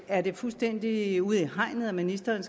er det fuldstændig ude i hegnet at ministeren